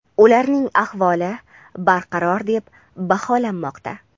ularning ahvoli barqaror deb baholanmoqda.